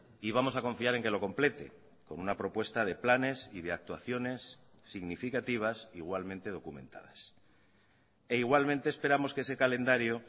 y vamos a confiar en que lo complete con una propuesta de planes y de actuaciones significativas igualmente documentadas e igualmente esperamos que ese calendario